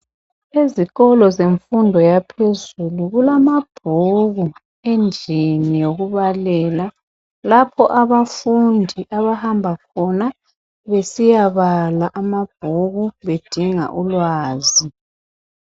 Ezikolo zemfundo yaphezulu kulamabhuku endlini yokubalela .Lapho abafundi abahamba khona .Besiyabala amabhuku bedinga ulwazi .